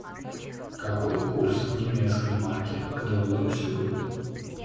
какой курс немецкой марки к доллару сегодня